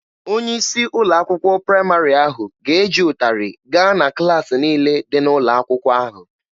Onye isi ụlọ akwụkwọ praịmarị ahụ ga-eji ụtarị gaa na klaasị niile dị n'ụlọ akwụkwọ ahụ.